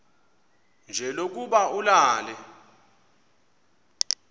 nje lokuba ulale